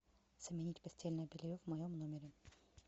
сменить постельное белье в моем номере